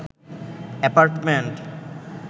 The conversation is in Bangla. এপার্টমেন্ট